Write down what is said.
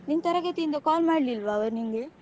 ನಿನ್ ತರಗತಿಯಿಂದ call ಮಾಡ್ಲಿಲ್ವಾ ಅವರು ನಿನ್ಗೆ?